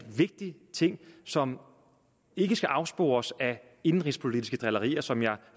vigtig ting som ikke skal afspores af indenrigspolitiske drillerier som jeg